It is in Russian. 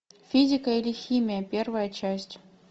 физика или химия первая часть